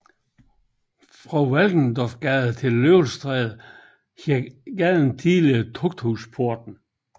Fra Valkendorfsgade til Løvstræde hed gaden tidligere Tugthusporten